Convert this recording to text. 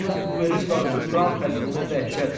Yalnız bu verir qarşı duran xəsmünə dəhşət.